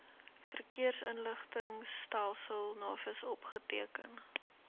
verkeersinligtingstelsel navis opgeteken